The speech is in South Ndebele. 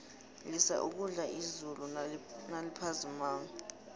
lisa ukudla izulu naliphazimako